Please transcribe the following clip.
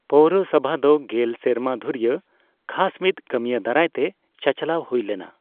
ᱯᱳᱣᱨᱚᱥᱚᱵᱷᱟ ᱫᱚ ᱜᱮᱞ ᱥᱮᱨᱢᱟ ᱫᱷᱩᱨᱤᱭᱟᱹ ᱠᱷᱟᱥ ᱢᱤᱫ ᱠᱟᱹᱢᱤᱭᱟᱹ ᱫᱟᱨᱟᱭ ᱛᱮ ᱪᱟᱪᱞᱟᱣ ᱦᱩᱭ ᱞᱮᱱᱟ ᱾